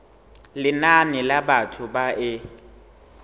lenane la batho ba e